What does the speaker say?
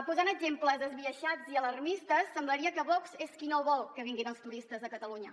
posant exemples esbiaixats i alarmistes semblaria que vox és qui no vol que vinguin els turistes a catalunya